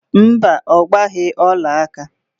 Mba, ọ gbaghị ọlaaka